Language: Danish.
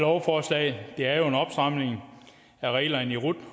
lovforslag er jo en opstramning af reglerne i rut